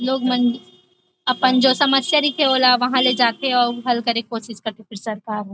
लोग मन अपन जो समस्या रईथे ओ ला वहाँ ले जाथे अऊ वहाँ हल करे के कोशिश करथे सरकार ह ।